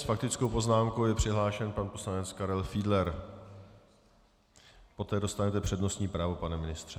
S faktickou poznámkou je přihlášen pan poslanec Karel Fiedler, poté dostanete přednostní právo, pane ministře.